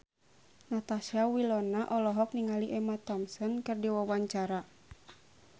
Natasha Wilona olohok ningali Emma Thompson keur diwawancara